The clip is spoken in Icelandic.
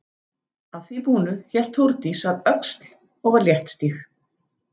Að því búnu hélt Þórdís að Öxl og var léttstíg.